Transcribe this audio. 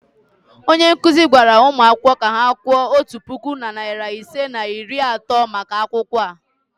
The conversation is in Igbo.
onye nkuzi gwara ụmụ akwụkwọ ka ha kwụọ otu puku na narị ise na iri atọ maka akwụkwọ a.